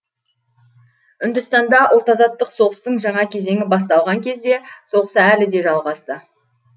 үндістанда ұлт азаттық соғыстың жаңа кезеңі басталған кезде соғыс әлі де жалғасты